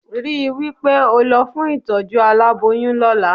Rí wí pé ó lọ fún ìtọ́jú aláboyún lọ́la